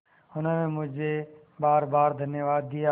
उन्होंने मुझे बारबार धन्यवाद दिया